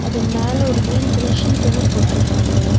இது மேல ஒரு க்ரீன் கலர் சீட் ஒண்ணு போட்றுக்காங்க.